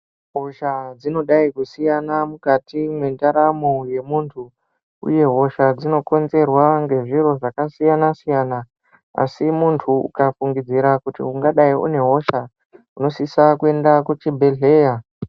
Hosha dzinodayi kusiyana mukati mwendaramo yemundu uye hosha dzinokonzerwa ngezviro zvakasiyana siyana asi mundu ukafungidzira kuti ungadayi une hosha unosisa kuenda kuchibhedhera.